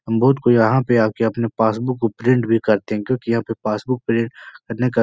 हम को यहाँ पे आके अपने पासबुक को प्रिंट भी करते है क्योंकि यहाँ पे पासबुक प्रिन्ट करने का --